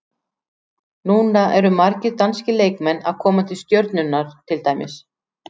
Núna eru margir danskir leikmenn að koma til Stjörnunnar til dæmis.